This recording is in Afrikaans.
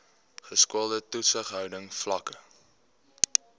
geskoolde toesighouding vlakke